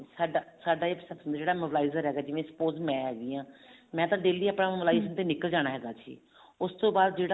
ਸਾਡਾ ਸਾਡਾ ਜਿਹੜਾ mobilizer ਹੈਗਾ suppose ਮੈਂ ਹੈਗੀ ਆਂ ਮੈਂ daily mobilizer ਤੇ ਨਿਕਲ ਜਾਂਦੀ ਹਾਂ ਉਸਤੋਂ ਬਾਅਦ ਜਿਹੜੇ